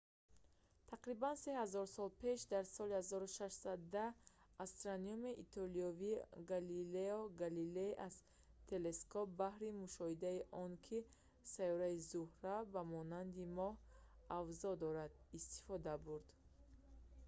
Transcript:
тақрибан се ҳазор сол пас дар соли 1610 астрономи итолиёвӣ галилео галилей аз телескоп баҳри мушоҳидаи он ки сайёраи зӯҳра ба монанди моҳ авзо дорад истифода бурд